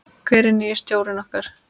Hver er nýi stjórinn okkar?